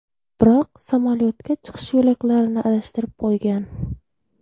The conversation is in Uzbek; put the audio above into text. Biroq samolyotga chiqish yo‘laklarini adashtirib qo‘ygan.